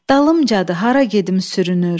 Dalımcadı hara gedim sürünür.